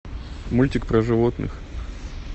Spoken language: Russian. мультик про животных